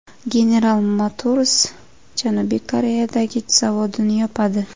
General Motors Janubiy Koreyadagi zavodini yopadi.